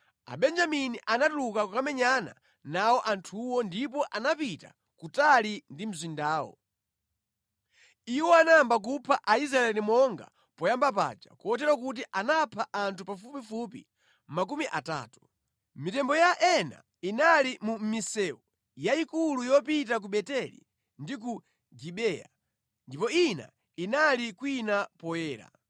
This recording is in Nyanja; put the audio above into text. Abenjamini anatuluka kukamenyana nawo anthuwo ndipo anapita kutali ndi mzindawo. Iwo anayamba kupha Aisraeli monga poyamba paja, kotero kuti anapha anthu pafupifupi makumi atatu. Mitembo ya ena inali mu misewu yayikulu yopita ku Beteli ndi ku Gibeya, ndipo ina inali kwina poyera.